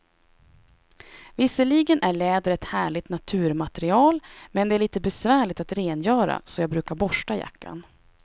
Visserligen är läder ett härligt naturmaterial, men det är lite besvärligt att rengöra, så jag brukar borsta jackan.